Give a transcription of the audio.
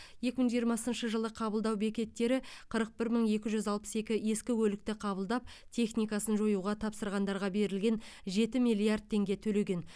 екі мың жиырмасыншы жылы қабылдау бекеттері қырық бір мың екі жүз алпыс екі ескі көлікті қабылдап техникасын жоюға тапсырғандарға берілген жеті миллиард теңге төлеген